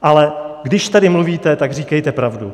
Ale když tady mluvíte, tak říkejte pravdu.